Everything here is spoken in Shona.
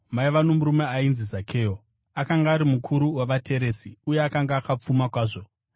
Maiva nomurume ainzi Zakeo; akanga ari mukuru wavateresi uye akanga akapfuma kwazvo.